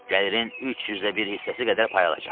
Gəlirin 30də bir hissəsi qədər pay alacaqsan.